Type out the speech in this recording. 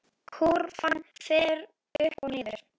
Kúrfan fer upp og niður.